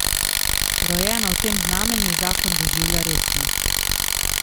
Rojena v tem znamenju zakon doživlja resno.